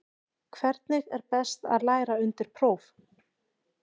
Hvernig er best að læra undir próf?